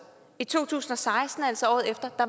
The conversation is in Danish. i to tusind og seksten altså året efter